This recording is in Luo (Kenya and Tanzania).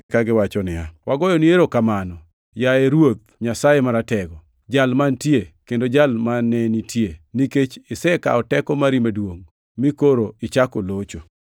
kagiwacho niya, “Wagoyoni erokamano, yaye Ruoth Nyasaye Maratego! Jal mantie, kendo Jal mane nitie, nikech isekawo teko mari maduongʼ, mi koro ichako locho.